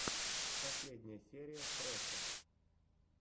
последняя серия фрэша